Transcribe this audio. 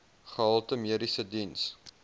gehalte mediese diens